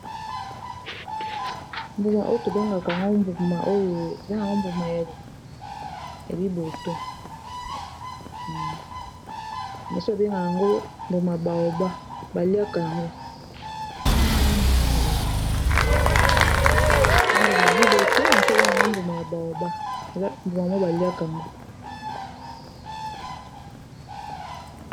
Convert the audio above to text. Oengguma ya liboto moso abenga ango mbuma ya baoba ea mbuma mo baliaka yango.